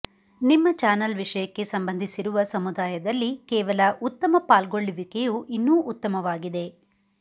ನಿಮ್ಮ ಚಾನಲ್ ವಿಷಯಕ್ಕೆ ಸಂಬಂಧಿಸಿರುವ ಸಮುದಾಯದಲ್ಲಿ ಕೇವಲ ಉತ್ತಮ ಪಾಲ್ಗೊಳ್ಳುವಿಕೆಯು ಇನ್ನೂ ಉತ್ತಮವಾಗಿದೆ